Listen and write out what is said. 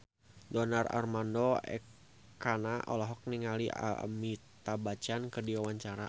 Donar Armando Ekana olohok ningali Amitabh Bachchan keur diwawancara